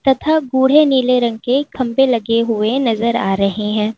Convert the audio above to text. तथा गूढ़े नीले रंग के खंभे लगे हुए नजर आ रहे हैं।